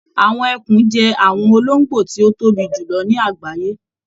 Àwọn ẹkùn jẹ àwọn olongbo ti o tóbi jùlọ ní àgbáyé.